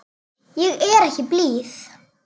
Ég er ekki blíð.